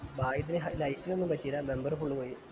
ഭാഗ്യത്തിന് ഹൈ light നു ഒന്ന് പറ്റീല bumber full പോയിന്